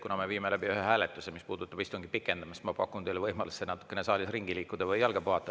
Kuna me viime läbi ühe hääletuse, mis puudutab istungi pikendamist, siis ma pakun teile võimalust natukene saalis ringi liikuda või jalga puhata.